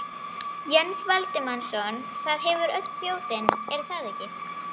Jens Valdimarsson: Það hefur öll þjóðin, er það ekki?